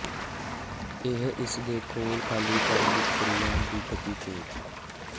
ਇਹ ਇਸ ਦੇ ਖੋਲ ਖਾਲੀ ਕਰਨ ਦੀ ਪ੍ਰਕਿਰਿਆ ਦੀ ਗਤੀ ਤੇਜ਼